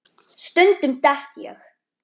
Stundum dett ég.